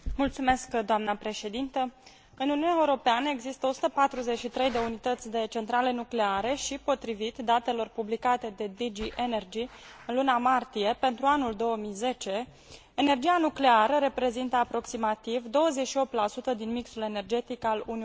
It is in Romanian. În Uniunea Europeană există 143 de unități de centrale nucleare și, potrivit datelor publicate de DG Energie în luna martie pentru anul 2010, energia nucleară reprezintă aproximativ 28 din mixul energetic al Uniunii Europene.